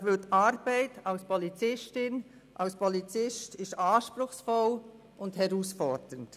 Die Arbeit als Polizist oder Polizistin ist anspruchsvoll und herausfordernd.